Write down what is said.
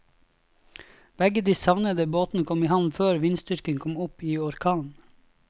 Begge de savnede båtene kom i havn før vindstyrken kom opp i orkan.